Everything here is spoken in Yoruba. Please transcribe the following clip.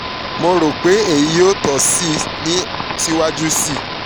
mo ro pe eyi yoo tọ ọ si itọju siwaju sii